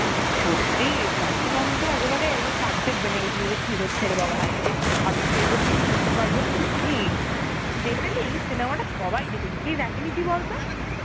সত্যি SRC ma'am তো একেবারে একটু Hindi গেছিল যে কি হচ্ছে রে বাবা, হাই এদেরকেতো ভাবিনি এরম কিছু ঘটতে পারবে, সত্যি! generally এই cinema টা সবাই দেখেছে, কে দেখেনি তুই বলতো?